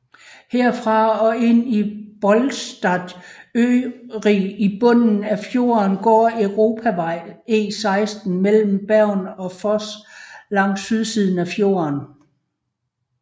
Herfra og ind til Bolstadøyri i bunden af fjorden går Europavej E16 mellem Bergen og Voss langs sydsiden af fjorden